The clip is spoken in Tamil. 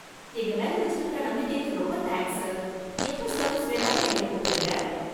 எங்க மேல வச்சிருக்கற நம்பிக்கைக்கு ரொம்ப தேங்க்ஸ், சார். எப்ப சர்வீஸ் வேணும்னாலும் எங்களை கூப்பிடுங்க.